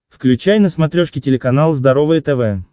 включай на смотрешке телеканал здоровое тв